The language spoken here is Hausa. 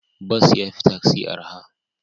Bas ya fi taksi araha.